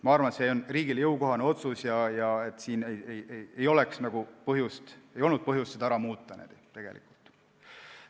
Ma arvan, et see on riigile jõukohane otsus ja ei oleks olnud põhjust seda süsteemi muuta.